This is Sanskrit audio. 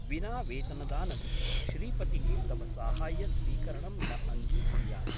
विना वेतनदानं श्रीपतिः तव साहाय्यस्वीकरणं न अङ्गीकुर्यात् ।